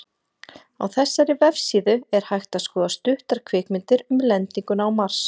Á þessari vefsíðu er hægt að skoða stuttar kvikmyndir um lendinguna á Mars.